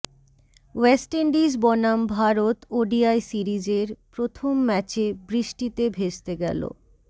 West Indies বনাম Bharat ODI সিরিজের প্রথম ম্যাচে বৃষ্টিতে ভেস্তে গেল